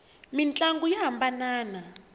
mintlangu ya hambanana